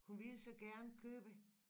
Hun ville så gerne købe